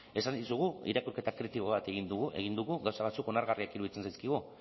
esan dizugu irakurketa kritiko bat egin dugu gauza batzuk onargarriak iruditzen zaizkigu